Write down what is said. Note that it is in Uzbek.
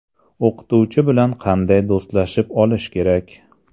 O‘qituvchi bilan qanday do‘stlashib olish kerak?.